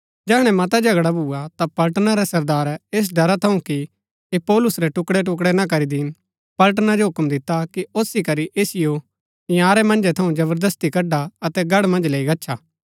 जैहणै मता झगड़ा भूआ ता पलटना रै सरदारै ऐस ड़रा थऊँ कि ऐह पौलुस रै टुकड़ैटुकड़ै ना करी दिन पलटना जो हूक्म दिता कि ओसी करी ऐसिओ इन्यारै मन्जै थऊँ जबरदस्ती कडआ अतै गढ़ मन्ज लैई गच्छा